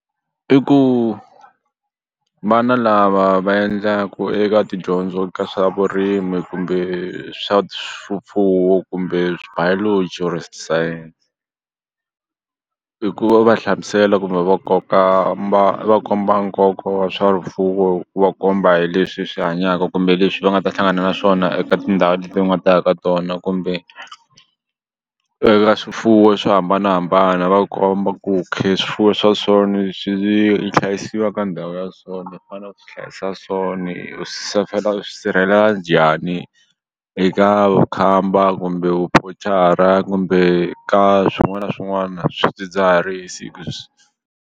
I ku vana lava va endlaku eka tidyondzo ka swa vurimi kumbe swa kumbe bilogy kumbe science hi ku va hlamusela kumbe va koka va komba nkoka wa swa hi ku va komba hi leswi swi hanyaka kumbe leswi va nga ta hlangana na swona eka tindhawu leti nga ta ya ka tona kumbe eka swifuwo swo hambanahambana va komba ku swifuwo swa so ni swi hlayisiwa ka ndhawu ya so ni fane u swi hlayisa so ni u u swi sirhelela njhani eka vukhamba kumbe kumbe ka swin'wana na swin'wana swidzidziharisi .